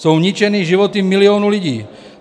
Jsou ničeny životy milionů lidí.